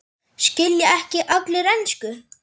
Skilja ekki allir ensku?